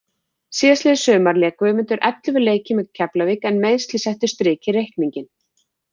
Síðastliðið sumar lék Guðmundur ellefu leiki með Keflavík en meiðsli settu strik í reikninginn.